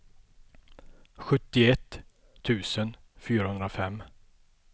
sjuttioett tusen fyrahundrafem